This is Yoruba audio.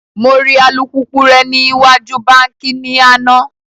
Mo ri alupupu rẹ ni iwaju banki ni ana